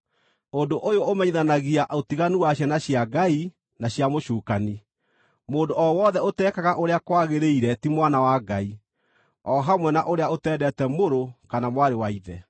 Ũndũ ũyũ ũmenyithanagia ũtiganu wa ciana cia Ngai na cia mũcukani: Mũndũ o wothe ũtekaga ũrĩa kwagĩrĩire ti mwana wa Ngai; o hamwe na ũrĩa ũtendete mũrũ kana mwarĩ wa ithe.